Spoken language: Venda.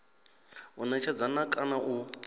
u netshedza na kana u